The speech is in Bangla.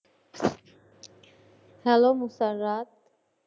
hello মুতারাত